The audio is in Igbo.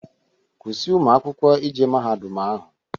Kwụsị ụmụ akwụkwọ ije mahadum ahụ!